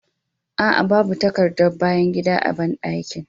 Aa, babu takardar bayan gida a bandakin